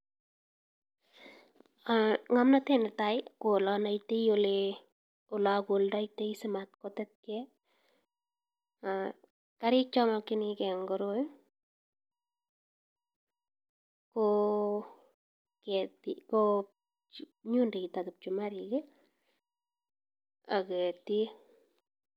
Ngomnotet ne tai ko olo naitai ola koldoi simatetkei, kariik che mekchinikei eng koroi ko nyundoit ak kipchumarik ak ketiik.